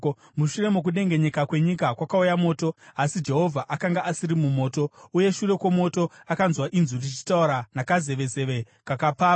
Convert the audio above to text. Mushure mokudengenyeka kwenyika kwakauya moto, asi Jehovha akanga asiri mumoto. Uye shure kwomoto akanzwa inzwi richitaura nakazevezeve kakapfava.